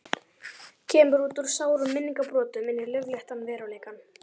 Kemur út úr sárum minningabrotum inn í laufléttan veruleikann.